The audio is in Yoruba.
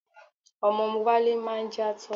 Ọmọ Wálé máa ń játọ́.